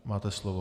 Máte slovo.